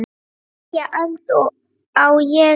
Nýja öld, á ég við.